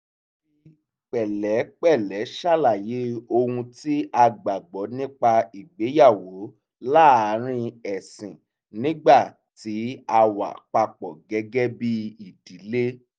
a fi pẹ̀lẹ́pẹ̀lẹ́ ṣàlàyé ohun tí a gbàgbọ́ nípa ìgbéyàwó láàárín ẹ̀sìn nígbà tí a wà papọ̀ gẹ́gẹ́ bí ìdílé